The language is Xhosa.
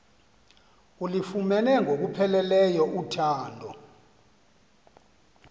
ulufumene ngokupheleleyo uthando